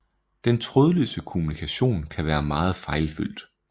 Den trådløse kommunikation kan være meget fejlfyldt